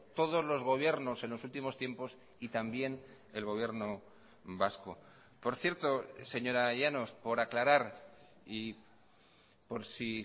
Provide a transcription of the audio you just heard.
todos los gobiernos en los últimos tiempos y también el gobierno vasco por cierto señora llanos por aclarar y por si